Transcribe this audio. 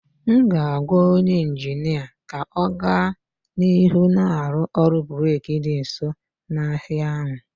M ga-agwa onye injinia ka ọ gaa n'ihu na-arụ ụlọ brik dị nso n'ahịa ahụ